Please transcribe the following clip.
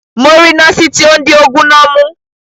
Mo ri noosi ti o n di oogun na mu.